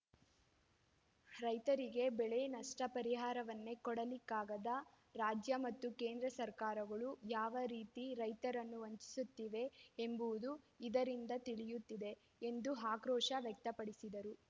ರೈತರಿಗೆ ಬೆಳೆ ನಷ್ಟಪರಿಹಾರವನ್ನೇ ಕೊಡಲಿಕ್ಕಾಗದ ರಾಜ್ಯ ಮತ್ತು ಕೇಂದ್ರ ಸರ್ಕಾರಗಳು ಯಾವ ರೀತಿ ರೈತರನ್ನು ವಂಚಿಸುತ್ತಿವೆ ಎಂಬುವುದು ಇದರಿಂದ ತಿಳಿಯುತ್ತಿದೆ ಎಂದು ಆಕ್ರೋಶ ವ್ಯಕ್ತಪಡಿಸಿದರು